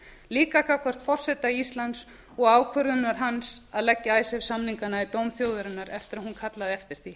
líka gagnvart forseta íslands og ákvörðunar hans að leggja icesave samningana í dóm þjóðarinnar eftir að hún kallaði eftir því